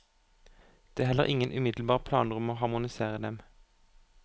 Det er heller ingen umiddelbare planer om å harmonisere dem.